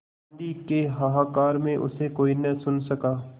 आँधी के हाहाकार में उसे कोई न सुन सका